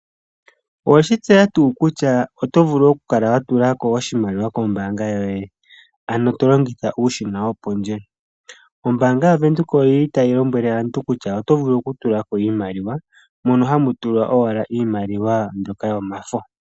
Oweshi tseya tuu kutya oto vulu oku kala wa tula ko oshimaliwa kombaanga yoye ano to longitha uushina wopondje. Ombaanga yaVenduka oyili tayi lombwele aantu kutya oto vulu okutula ko iimaliwa mono hamu tulwa owala iimaliwa mbyoka yomafo.